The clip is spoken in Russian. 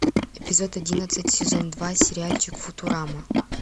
эпизод одиннадцать сезон два сериальчик футурама